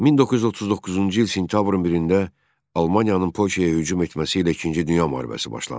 1939-cu il sentyabrın 1-də Almaniyanın Polşaya hücum etməsi ilə İkinci Dünya müharibəsi başlandı.